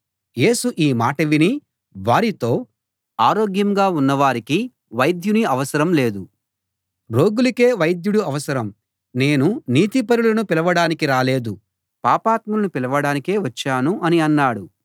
యేసు ఈ మాట విని వారితో ఆరోగ్యంగా ఉన్నవారికి వైద్యుని అవసరం లేదు రోగులకే వైద్యుడు అవసరం నేను నీతిపరులను పిలవడానికి రాలేదు పాపాత్ములను పిలవడానికే వచ్చాను అని అన్నాడు